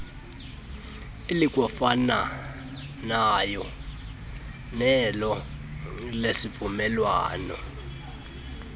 elikwafanayo nelo lesivumelwano